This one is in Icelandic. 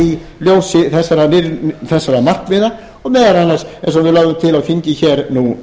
í ljósi þessara markmiða og meðal annars eins og við lögðum til á þingi hér nú